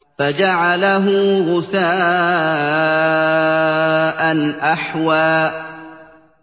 فَجَعَلَهُ غُثَاءً أَحْوَىٰ